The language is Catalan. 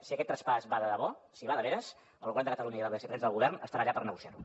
si aquest traspàs va de debò si va de veres el govern de catalunya i la vicepresidència del govern estaran allà per negociar ho